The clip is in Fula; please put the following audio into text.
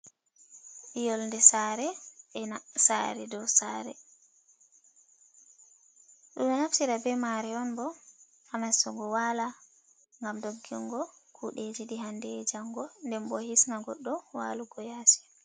Yonɗe sare ena sare, do sare, do naftira be mare on bo ha nastugo wala gam doggingo kuɗeji ɗehande e jango den bo hisna goddo walugo yasi.